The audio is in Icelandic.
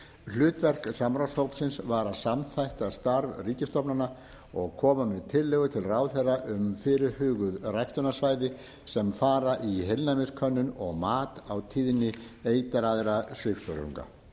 hlutverk samráðshópsins var að samþætta starf ríkisstofnana og koma með tillögur til ráðherra um fyrirhuguð ræktunarsvæði sem fara í heilnæmiskönnun og mat á tíðni eitraðra svifþörunga